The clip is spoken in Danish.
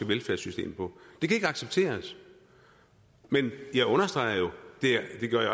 velfærdssystem og det kan ikke accepteres men jeg understreger jo